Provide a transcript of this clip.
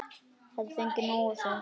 Hef fengið nóg af þeim.